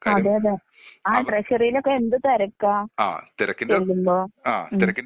അതെയതെ ട്രഷറിലൊക്കെ എന്ത് തിരക്കാ ചെല്ലുമ്പോ ഉം.